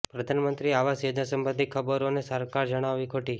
પ્રધાનમંત્રી આવાસ યોજના સબંધી ખબરોને સરકારે જણાવી ખોટી